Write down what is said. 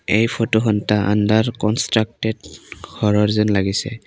এই ফটোখন এটা আণ্ডাৰ কনষ্টাকটেড ঘৰৰ যেন লাগিছে।